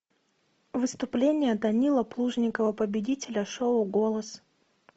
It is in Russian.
выступление данилы плужникова победителя шоу голос